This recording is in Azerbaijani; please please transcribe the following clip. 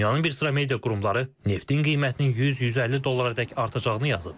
Dünyanın bir sıra media qurumları neftin qiymətinin 100-150 dollara dək artacağını yazıb.